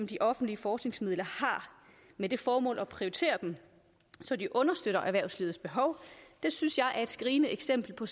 de offentlige forskningsmidler har med det formål at prioritere dem så de understøtter erhvervslivets behov synes jeg er et skrigende eksempel på